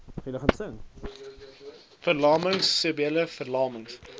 verlamming serebrale verlamming